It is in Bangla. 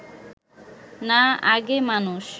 না আগে মানুষ